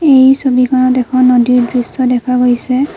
এই ছবিখনত এখন নদীৰ দৃশ্য দেখা গৈছে।